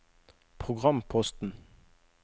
programposten